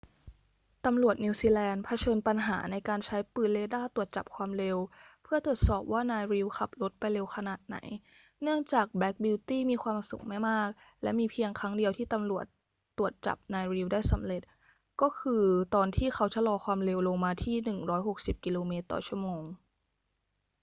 ตำรวจนิวซีแลนด์เผชิญปัญหาในการใช้ปืนเรดาร์ตรวจจับความเร็วเพื่อตรวจสอบว่านาย reid ขับรถไปเร็วขนาดไหน เนื่องจากแบล็กบิวตี้มีความสูงไม่มาก และมีเพียงครั้งเดียวที่ตำรวจตรวจจับนาย reid ได้สำเร็จ ก็คือตอนที่เขาชะลอความเร็วลงมาที่ 160 กม./ชม